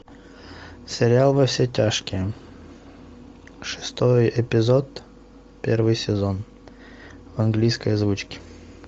сериал во все тяжкие шестой эпизод первый сезон в английской озвучке